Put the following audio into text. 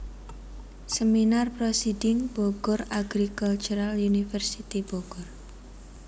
Seminar proceedings Bogor Agricultural University Bogor